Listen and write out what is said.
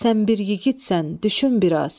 düşün biraz.